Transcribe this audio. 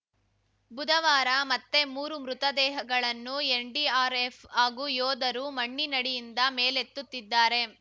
ಬುಧವಾರ ಮತ್ತೆ ಮೂರು ಮೃತದೇಹಗಳನ್ನು ಎನ್‌ಡಿಆರ್‌ಎಫ್‌ ಹಾಗೂ ಯೋಧರು ಮಣ್ಣಿನಡಿಯಿಂದ ಮೇಲೆತ್ತುತ್ತಿದ್ದಾರೆ